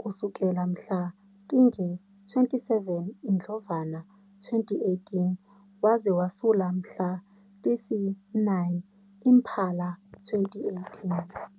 kusukela mhla tinge-27 Indlovana 2018 waze wasula mhla tisi-9 Imphala 2018.